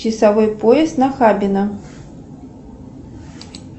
часовой пояс нахабино